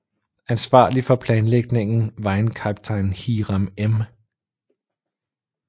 Ansvarlig for planlægningen var en kaptajn Hiram M